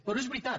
però és veritat